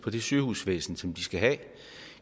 på det sygehusvæsen som de skal have